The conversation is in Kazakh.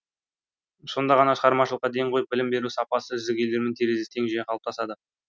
сонда ғана шығармашылыққа ден қойып білім беру сапасы үздік елдермен терезесі тең жүйе қалыптасады